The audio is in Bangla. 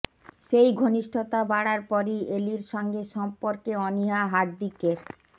সেই ঘনিষ্ঠতা বাড়ার পরই এলির সঙ্গে সম্পর্কে অনীহা হার্দিকের